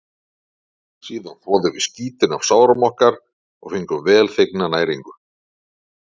Síðan þvoðum við skítinn af sárum okkar og fengum velþegna næringu.